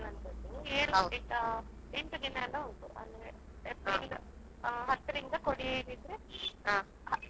ಇಲ್ಲ April ಅಲ್ಲಿ ಶುರುವಾಗುದು April ಹತ್ತಕ್ಕೆ ಕೊಡಿ ಏರುವಂತದ್ದು, ಎಂಟು ದಿನ ಎಲ್ಲಾ ಉಂಟು ಜಾತ್ರೆ April ಹತ್ ರಿಂದ ಕೊಡಿ ಯೇಳಿದ್ರೆ.